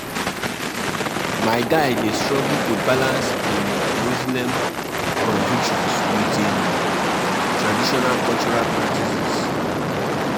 Na dese spiritual tins wey we dey do dey connect us to our ancestors.